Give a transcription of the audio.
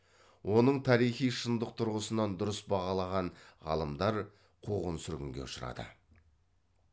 оның тарихи шындық тұрғысынан дұрыс бағалаған ғалымдар қуғын сүргінге ұшырады